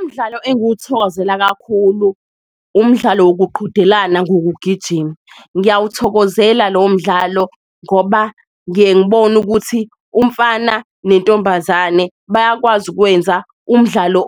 Umdlalo engiwuthokozela kakhulu umdlalo wokuqhudelana ngokugijima, ngiyawuthokozela lowo mdlalo ngoba ngiye ngibone ukuthi umfana nentombazane bayakwazi ukwenza umdlalo